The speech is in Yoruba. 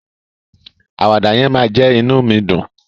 Àwàdà yẹn máa jẹ́ inú mi dùn.